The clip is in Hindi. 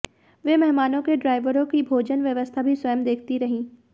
वे मेहमानों के ड्राइवरों की भोजन व्यवस्था भी स्वयं देखती रहीं